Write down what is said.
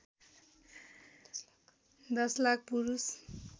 १० लाख पुरुष